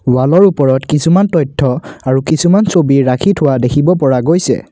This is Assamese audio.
ৱালৰ ওপৰত কিছুমান তথ্য আৰু কিছুমান ছবি ৰাখি থোৱা দেখিব পৰা গৈছে।